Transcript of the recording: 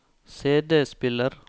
CD-spiller